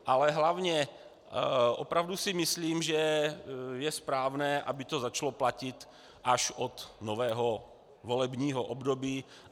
Ale hlavně opravdu si myslím, že je správné, aby to začalo platit až od nového volebního období.